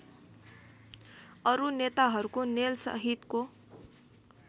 अरू नेताहरूको नेलसहितको